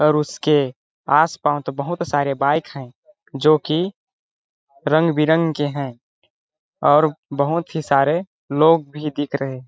और उसके आसपास बहुत सारे बाइक हैं जो कि रंग बिरंग के हैं और बहुत ही सारे लोग भी दिख रहे हैं।